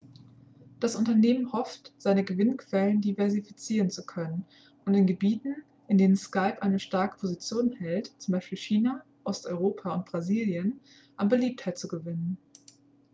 das unternehmen hofft seine gewinnquellen diversifizieren zu können und in gebieten in denen skype eine starke position hält z. b. china osteuropa und brasilien an beliebtheit zu gewinnen